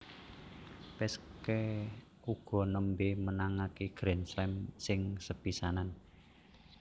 Peschke uga nembé menangaké Grand Slam sing sepisanan